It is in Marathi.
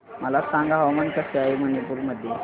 मला सांगा हवामान कसे आहे मणिपूर मध्ये